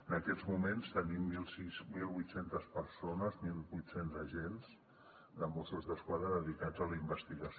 en aquests moments tenim mil vuit cents persones mil vuit cents agents de mossos d’esquadra dedicats a la investigació